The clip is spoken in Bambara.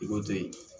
I ko to yen